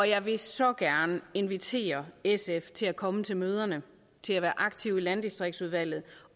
jeg vil så gerne invitere sf til at komme til møderne til at være aktive i landdistriktsudvalget